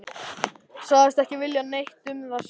Sagðist ekki vilja neitt um það segja.